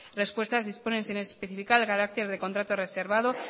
respuestas disponen sin especificar el carácter de contrato reservado